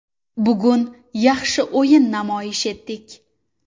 Bugun yaxshi o‘yin namoyish etdik.